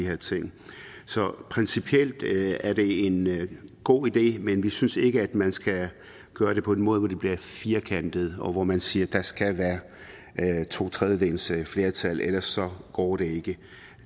her ting så principielt er det en god idé men vi synes ikke man skal gøre det på en måde hvor det bliver firkantet og hvor man siger at der skal være et totredjedelsflertal og ellers går det ikke